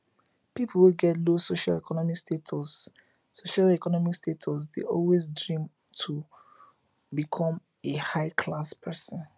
pipo wey get low socioeconmic status socioeconmic status de always dream to become a high class persin